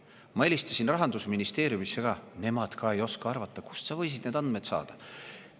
" Ta ütles: "Ma helistasin Rahandusministeeriumisse, nemad ka ei oska arvata, kust sa võisid need andmed saada.